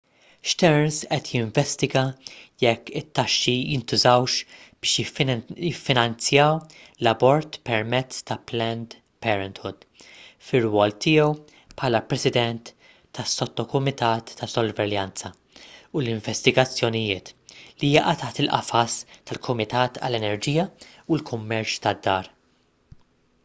stearns qed jinvestiga jekk it-taxxi jintużawx biex jiffinanzjaw l-abort permezz ta' planned parenthood fir-rwol tiegħu bħala president tas-sottokumitat ta' sorveljanza u investigazzjonijiet li jaqa' taħt il-qafas tal-kumitat għall-enerġija u l-kummerċ tad-dar